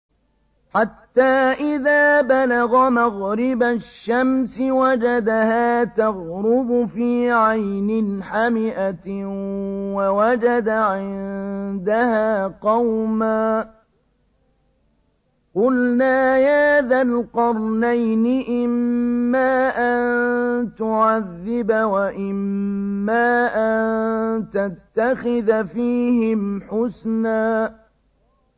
حَتَّىٰ إِذَا بَلَغَ مَغْرِبَ الشَّمْسِ وَجَدَهَا تَغْرُبُ فِي عَيْنٍ حَمِئَةٍ وَوَجَدَ عِندَهَا قَوْمًا ۗ قُلْنَا يَا ذَا الْقَرْنَيْنِ إِمَّا أَن تُعَذِّبَ وَإِمَّا أَن تَتَّخِذَ فِيهِمْ حُسْنًا